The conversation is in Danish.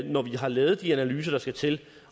når vi har lavet de analyser der skal til